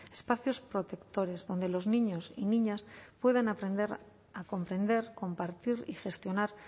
espacios protectores donde los niños y niñas puedan aprender a comprender compartir y gestionar